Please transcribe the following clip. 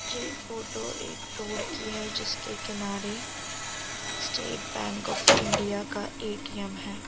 ये फोटो एक रोड की है जिसके किनारे स्‍टेट बैंक ऑफ इंडिया का ए.टी.एम है।